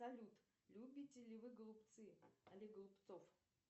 салют любите ли вы голубцы олег голубцов